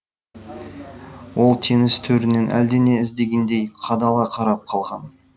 ол теңіз төрінен әлдене іздегендей қадала қарап қалған